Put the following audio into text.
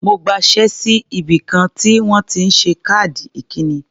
Mo gbaṣé sí ibìkan tí wọ́n ti ń ṣe káàdì ikíni.